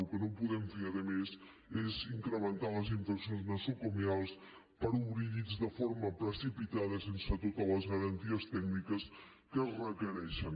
el que no podem fer a més és incrementar les infeccions nosocomials perquè obrim llits de forma precipitada i sense totes les garanties tècniques que es requereixen